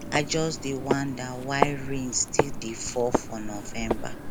i just dey wonder why rain still dey fall for november